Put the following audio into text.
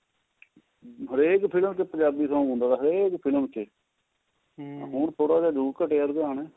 ਹਰੇਕ ਫਿਲਮ ਚ ਪੰਜਾਬੀ song ਹੁੰਦਾ ਸੀ ਹਰੇਕ ਫਿਲਮ ਚ ਹੁਣ ਥੋੜਾ ਜਾ ਜਰੁਰ ਘਟਿਆ ਰੁਝਾਣ